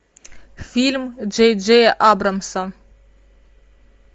фильм джей джея абрамса